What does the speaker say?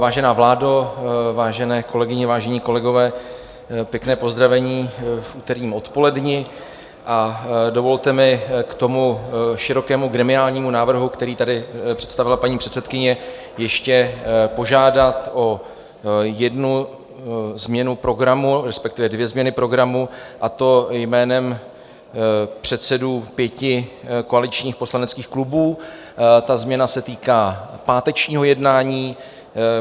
Vážená vládo, vážené kolegové, vážení kolegové, pěkné pozdravení v úterním odpoledni a dovolte mi k tomu širokému gremiálnímu návrhu, který tady představila paní předsedkyně, ještě požádat o jednu změnu programu, respektive dvě změny programu, a to jménem předsedů pěti koaličních poslaneckých klubů - ta změna se týká pátečního jednání.